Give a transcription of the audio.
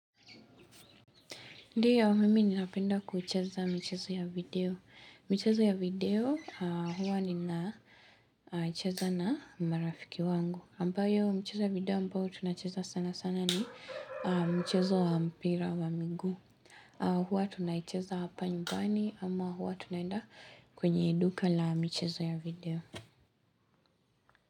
Ndio, mimi ninapenda kucheza mchezo ya video. Michezo ya video, huwa ninacheza na marafiki wangu. Ambayo, michezo ya video ambayo tunacheza sana sana ni mchezo wa mpira wa miguu. Huwa tunaicheza hapa nyumbani ama huwa tunaenda kwenye duka la michezo ya video.